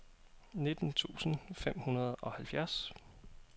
nitten tusind fem hundrede og halvfjerds